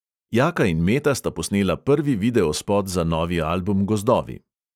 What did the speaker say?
Jaka in meta sta posnela prvi videospot za novi album gozdovi.